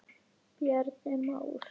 Bjarni Már.